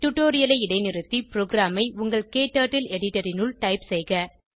டுடோரியலை இடைநிறுத்தி ப்ரோகிராமை உங்கள் க்டர்ட்டில் எடிட்டர் இனுள் டைப் செய்க